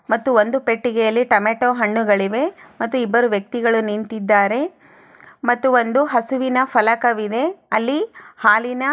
ಮತ್ತು ಒಂದು ಪೆಟ್ಟಿಗೆಯಲ್ಲಿ ಟೊಮೊಟೊ ಹಣ್ಣುಗಳಿವೆ ಮತ್ತು ಇಬ್ಬರು ವ್ಯಕ್ತಿಗಳು ನಿಂತಿದ್ದಾರೆ ಮತ್ತು ಒಂದು ಹಸುವಿನ ಫಲಕವಿದೆ ಅಲ್ಲಿ ಹಾಲಿನ --